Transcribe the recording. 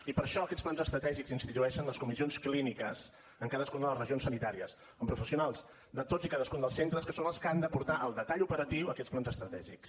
i per això aquests plans estratègics institueixen les comissions clíniques en cadascuna de les regions sanitàries amb professionals de tots i cadascun dels centres que són els que han de portar al detall operatiu aquests plans estratègics